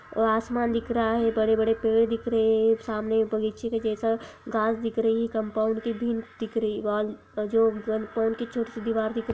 और आसमान दिख रहा है बड़े-बड़े पेड़ दिख रहे हैं सामने एक बगीचे के जैसा घास दिख रही कंपाउंड की दिन दिख रही वहाँ ]